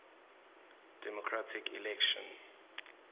democratic election